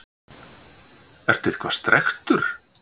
Ertu eitthvað strekktur?